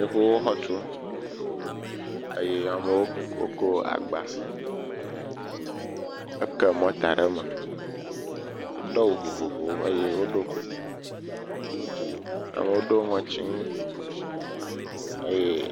Yevuwo xɔ tum eye amewo wokɔ agba, woke mɔta le me, wodo awu vovovowo eye woɖo kuku, amewo do ŋɔtinui eye…